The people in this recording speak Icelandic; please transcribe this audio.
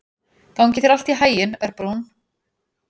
Gangi þér allt í haginn, Örbrún.